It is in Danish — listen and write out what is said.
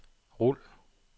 rul